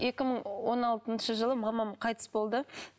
екі мың он алтыншы жылы мамам қайтыс болды